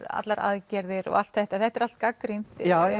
allar aðgerðir og allt þetta þetta er allt gagnrýnt